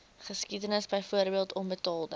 geskiedenis byvoorbeeld onbetaalde